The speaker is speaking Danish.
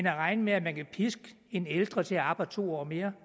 at regne med at man kan piske en ældre til at arbejde to år mere